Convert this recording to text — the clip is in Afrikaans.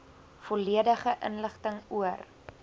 volledige inligting oor